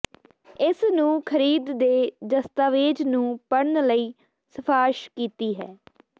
ਇਸ ਨੂੰ ਖਰੀਦ ਦੇ ਦਸਤਾਵੇਜ਼ ਨੂੰ ਪੜ੍ਹਨ ਲਈ ਸਿਫਾਰਸ਼ ਕੀਤੀ ਹੈ